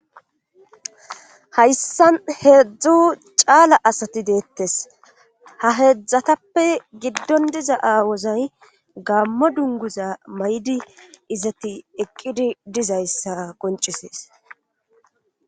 hayssan heedzdzu caala asati deettes ha heedzdzatappe giddon diza awozay gammo dunguza may7di izati eqqidi dizayssa qoncisees